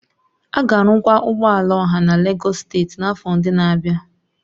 A ga-arụkwa ụgbọ ala ọha na Lagos steeti n'afọ ndị na-abịa